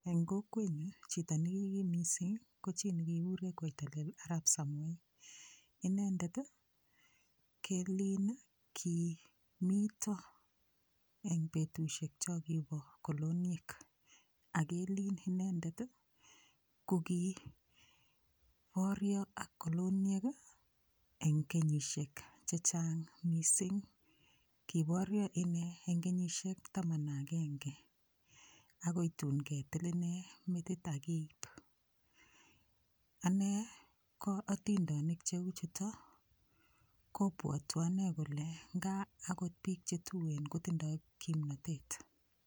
Eng' kokwenyu chito nikikim mising' ko chi nikikikure koitalel arap samoei inendet kelin ki mito eng' betushiek cho kibo koloniek akelin inendet ko kiborio ak koloniek eng' kenyishek chechang' mising' kiborio ine eng' kenyishek taman ak agenge akoi tun ketil ine metit akeip ane ko otindonik cheu chuto kopwotwo ane kole ngaakot biik chetuen kotindoi kimnotet